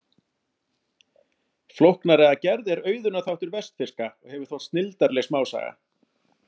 Flóknari að gerð er Auðunar þáttur vestfirska og hefur þótt snilldarleg smásaga.